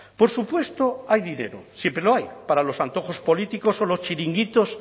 por supuesto hay dinero siempre lo hay para los antojos políticos o los chiringuitos